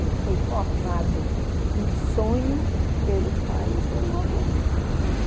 Ele foi formado em sonho pelo pai e pelo avô dele, né?